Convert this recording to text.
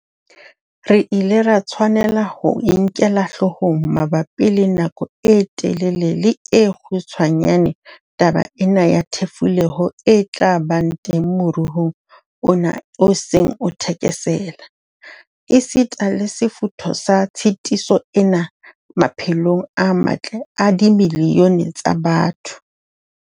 Re ile ra tshwanela ho e nkela hloohong mabapi le nako e telele le e kgutshwane taba ena ya thefuleho e tla ba teng moruong ona o seng o thekesela, esita le sefutho sa tshitiso ena maphe long a matle a dimilione tsa batho.